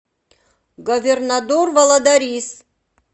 говернадор валадарис